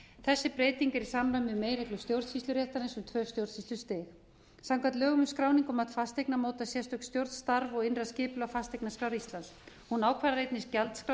þessi breyting er í samræmi við meginreglur stjórnsýsluréttarins um tvö stjórnsýslustig samkvæmt lögum um skráningu og mat fasteigna mótar sérstök stjórn starf og innra skipulag fasteignaskrár íslands hún ákvarðar einnig gjaldskrá